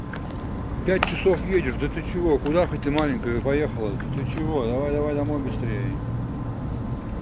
пять часов едешь да ты чего куда хоть ты маленькая поехала ты чего давай давай давай домой быстрее